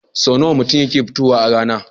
Sau nawa mutum yakan yi kiftawa a rana?